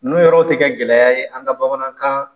N'o yɔrɔ tɛ kɛ gɛlɛya ye an ka bamanankaan